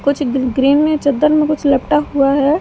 कुछ गि ग्रीन में चद्दर में कुछ लपटा हुआ हैं।